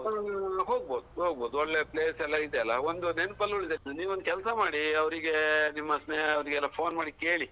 ಹ್ಮ್ ಹೋಗ್ಬಹುದು ಹೋಗ್ಬಹುದು ಒಳ್ಳೆ ಪ್ಲೇಸ್ ಎಲ್ಲಾ ಇದೆಯಲ್ಲಾ ಒಂದು ನೆನಪಲ್ಲಿ ಒಳ್ದೋಯಿತು ನೀವ್ ಒಂದು ಕೆಲ್ಸ ಮಾಡಿ ಅವರಿಗೆ ನಿಮ್ಮ ಸ್ನೇಹವರಿಗೆ phone ಮಾಡಿ ಕೇಳಿ.